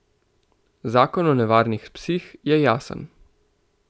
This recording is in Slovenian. Zakon o nevarnih psih je jasen.